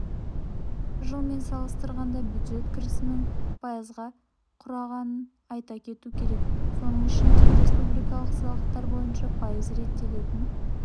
жылмен салыстырғанда бюджет кірісінің пайыз құрағанын айта кету керек соның ішінде республикалық салықтар бойынша пайыз реттелетін